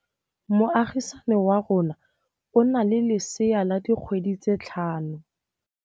Moagisane wa rona o na le lesea la dikgwedi tse tlhano.